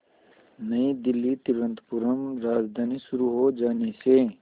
नई दिल्ली तिरुवनंतपुरम राजधानी शुरू हो जाने से